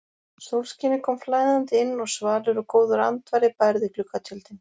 Sólskinið kom flæðandi inn og svalur og góður andvari bærði gluggatjöldin.